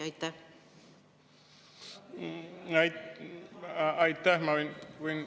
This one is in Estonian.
Aitäh!